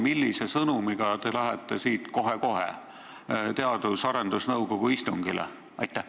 Millise sõnumiga te lähete siit kohe-kohe Teadus- ja Arendusnõukogu istungile?